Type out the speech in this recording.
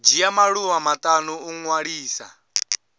dzhia maḓuvha maṱanu u ṅwalisa